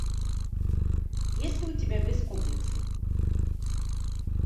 есть ли у тебя без комплексов